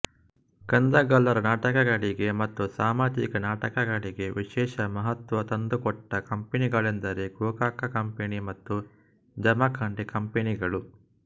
ಕಂದಗಲ್ಲರ ನಾಟಕಗಳಿಗೆ ಮತ್ತು ಸಾಮಾಜಿಕ ನಾಟಕಗಳಿಗೆ ವಿಶೇಷ ಮಹತ್ತ್ವ ತಂದುಕೊಟ್ಟ ಕಂಪನಿಗಳೆಂದರೆ ಗೋಕಾಕ ಕಂಪನಿ ಮತ್ತು ಜಮಖಂಡಿ ಕಂಪನಿಗಳು